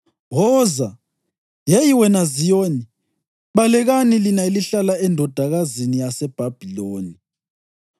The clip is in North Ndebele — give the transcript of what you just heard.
“Woza, yeyi wena Ziyoni! Balekani lina elihlala eNdodakazini yaseBhabhiloni!”